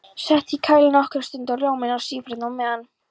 Sett í kæli nokkra stund og rjóminn stífþeyttur á meðan.